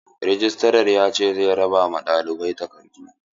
Rejistran ya ce za a raba ma ɗalibai takardu.